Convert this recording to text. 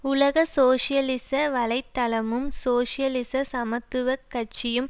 உலக சோசியலிச வலை தளமும் சோசியலிச சமத்துவ கட்சியும்